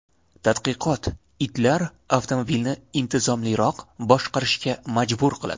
Tadqiqot: Itlar avtomobilni intizomliroq boshqarishga majbur qiladi.